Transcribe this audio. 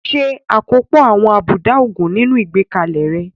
Ṣe àkópọ̀ àwọn àbùdá òògùn nínú ìgbékalẹ̀ rẹ.